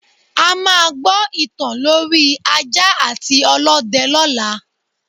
A máa gbọ ìtàn lorí ajá àti ọlọ́dẹ lọla